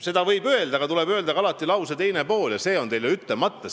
Nii võib öelda, aga siis tuleb alati öelda ka lause teine pool – see on teil ju ütlemata.